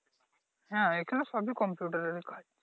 হ্যাঁ এখানে সবই কম্পিউটারের কাজ ।